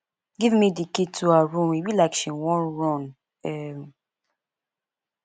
give me the key to her room e be like she wan run um